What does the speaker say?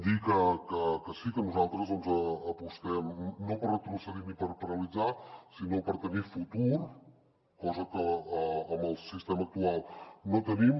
dir que sí que nosaltres doncs apostem no per retrocedir ni per paralitzar sinó per tenir futur cosa que amb el sistema actual no tenim